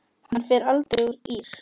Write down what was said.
Hann fer aldrei úr ÍR.